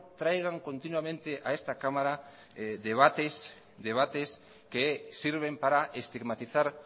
traigan continuamente a esta cámara debates que sirven para estigmatizar